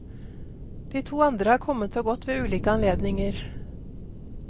De to andre har kommet og gått ved ulike anledninger.